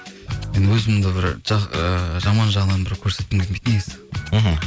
енді өзімді бір ыыы жаман жағынан бір көрсеткім келмейді негізі мхм